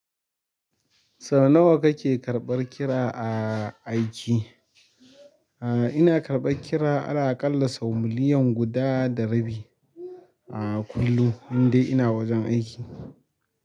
Sau nawa kake karɓar kira a aiki? A'a ina karɓar kira, ala aƙalla sau miliyan guda da rabi a kullum, in dai ina wajen aiki.